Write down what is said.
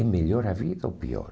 É melhor a vida ou pior?